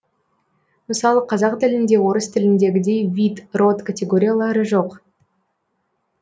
мысалы қазақ тілінде орыс тіліндегідей вид род категориялары жоқ